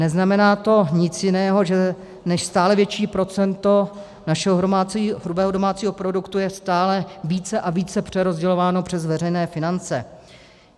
Neznamená to nic jiného, než že stále větší procento našeho hrubého domácího produktu je stále více a více přerozdělováno přes veřejné finance.